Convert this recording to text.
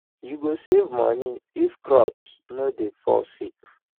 you go save money if crops no dey fall sick